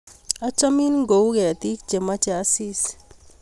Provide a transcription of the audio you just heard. achamin ko u ketik chemache asis